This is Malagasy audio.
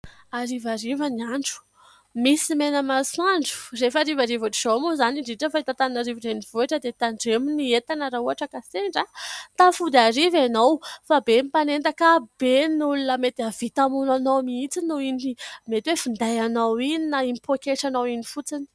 Harivariva ny andro, misy mena masoandro. Rehefa harivariva ohatr' izao moa izany indrindra fa eto Antananarivo renivohitra dia tandremo ny entana raha ohatra ka sendra tafody hariva ianao fa be ny mpanendaka, be ny olona mety havita hamono anao mihitsy noho iny mety hoe finday anao iny, na iny pôketranao iny fotsiny.